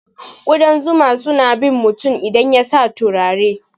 Kudan zuma suna bin mutum idan yasa turare.